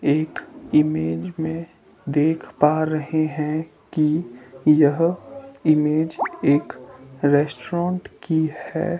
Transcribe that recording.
एक इमेज में देख पा रहे हैं कि यह इमेज एक रेस्टोरेंट की है।